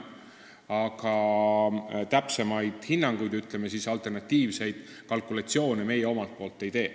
Aga täpsemaid hinnanguid ja, ütleme siis, alternatiivseid kalkulatsioone meie ei tee.